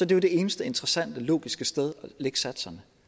det jo det eneste interessante logiske sted at lægge satserne